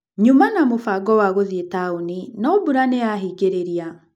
Nyuma na mũbango wa gũthiĩ taũni, no mbura nĩ ya hingĩrĩria.